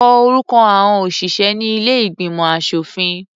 Kọ orúkọ àọn òṣìṣẹ́ ní ilé ìgbìmọ̀ aṣòfin.